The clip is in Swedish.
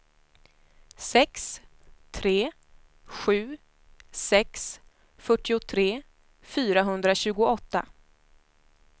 sex tre sju sex fyrtiotre fyrahundratjugoåtta